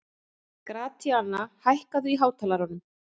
Gratíana, hækkaðu í hátalaranum.